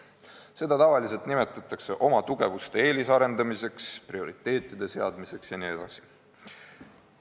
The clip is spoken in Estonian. Seda nimetatakse tavaliselt oma tugevuste eelisarendamiseks, prioriteetide seadmiseks jne.